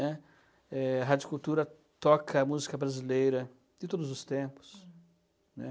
né. A Rádio Cultura toca música brasileira de todos os tempos. Hm. Né?